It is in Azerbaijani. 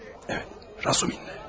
Bəli, Razumihin ilə.